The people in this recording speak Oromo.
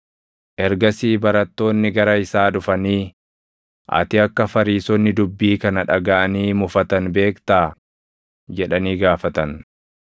Ergasii barattoonni gara isaa dhufanii, “Ati akka Fariisonni dubbii kana dhagaʼanii mufatan beektaa?” jedhanii gaafatan.